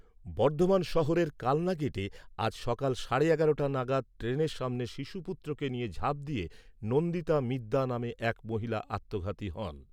বর্ধমান শহরের কালনা গেটে আজ সকাল সাড়ে এগারোটা টা নাগাদ ট্রেনের সামনে শিশুপুত্রকে নিয়ে ঝাঁপ দিয়ে নন্দিতা মিদ্যা নামে এক মহিলা আত্মঘাতী হন।